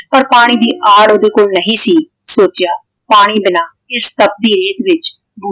ਪਰ ਪਾਣੀ ਦੀ ਆੜ ਓਹਦੇ ਕੋਲ ਨਹੀਂ ਸੀ ਸੋਚਿਆ ਪਾਣੀ ਬਿਨਾ ਇਸ ਤਪਦੀ ਰੇਤ ਵਿੱਚ